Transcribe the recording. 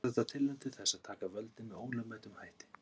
Var þetta tilraun til þess að taka völdin með ólögmætum hætti?